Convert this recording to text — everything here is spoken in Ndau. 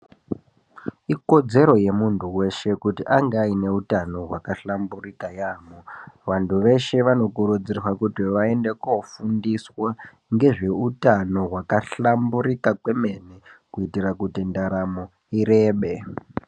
Ikodzero yemuntu weshe kuti ange aineutano hwakahlamburika yambo vantu veshe vanokurudzirwa kuti vaende kofundiswa ngezveutqno wakahlamburika kwemene kuite kuti ndaramo irebe.